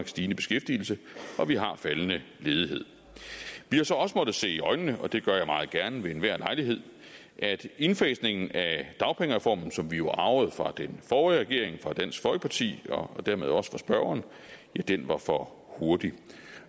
stigende beskæftigelse og vi har faldende ledighed vi har så også måttet se i øjnene og det gør jeg meget gerne ved enhver lejlighed at indfasningen af dagpengereformen som vi jo arvede fra den forrige regering og dansk folkeparti og dermed også fra spørgeren var for hurtig